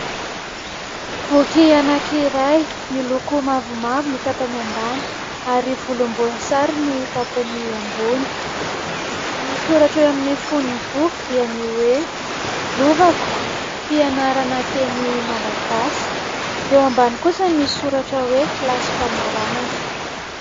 Boky anankiray miloko mavomavo ny tampany ambany ary volomboasary ny tapany ambony. Ny soratra eo amin'ny fonony boky dia ny hoe ''lovako'' fianarana teny malagasy, eo ambany kosa misoratra hoe kilasy famaranana.